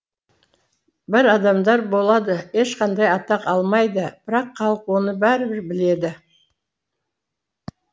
бір адамдар болады ешқандай атақ алмайды бірақ халық оны бәрібір біледі